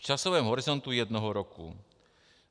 V časovém horizontu jednoho roku.